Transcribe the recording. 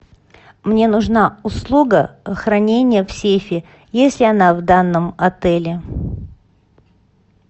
мне нужна услуга хранения в сейфе есть ли она в данном отеле